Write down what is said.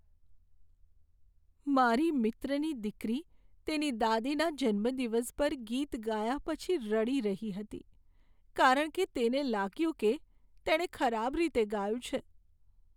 મારી મિત્રની દીકરી તેની દાદીના જન્મદિવસ પર ગીત ગાયા પછી રડી રહી હતી, કારણ કે તેને લાગ્યું કે તેણે ખરાબ રીતે ગાયું છે.